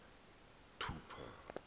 thupha